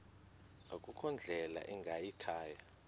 akukho ndlela ingayikhaya